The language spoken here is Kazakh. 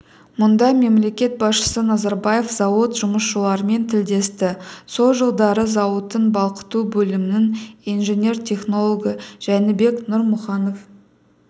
мұнда мемлекет басшысы назарбаев зауыт жұмысшыларымен тілдесті сол жылдары зауыттың балқыту бөлімінің инженер-технологы жәнібек нұрмұханов